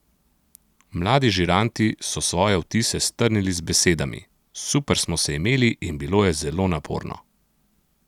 Mladi žiranti so svoje vtise strnili z besedami: "Super smo se imeli in bilo je zelo naporno.